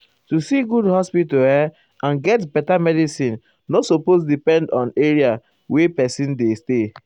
---- to see good hospital erm and get beta medicin nor supose depend erm where pesin dey stay.